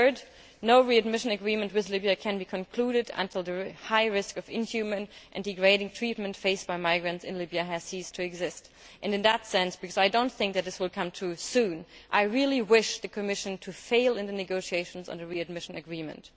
thirdly, no readmission agreement with Libya can be concluded until the high risk of inhuman and degrading treatment faced by migrants in Libya has ceased to exist. And, on that matter, because I do not think this will come too soon, I really wish the Commission to fail in the negotiations on the readmission agreement.